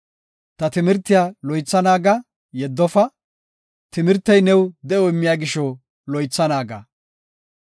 Ta timirtiya loytha naaga; yeddofa; timirtey new de7o immiya gisho loytha naaga.